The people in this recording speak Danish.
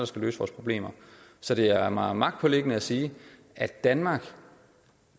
skal løse vores problemer så det er mig magtpåliggende at sige at danmark